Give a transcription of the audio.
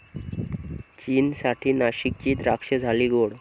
चीनसाठी नाशिकची द्राक्षं झाली गोड!